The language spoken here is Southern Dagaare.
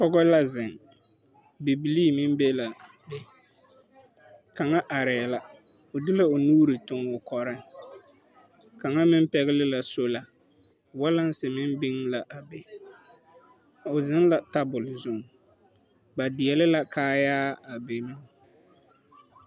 Pɔge la zeŋ bibilii meŋ be l,a be kaŋa arɛɛ la o del,o nuuri toŋ o kɔreŋ kaŋa meŋ pɛgle la sola walense meŋ biŋ l,a be o zeŋ la tabol zuŋ ba deɛle la kaayaa a biŋ.